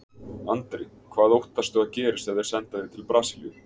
Andri: Hvað óttastu að gerist ef þeir senda þig til Brasilíu?